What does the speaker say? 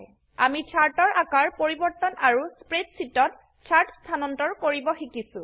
আমি চাৰ্ট এৰ আকাৰ পৰিবৰ্তন আৰু স্প্ৰেডশীটত চাৰ্ট স্থানান্তৰ কৰিব শিকিছো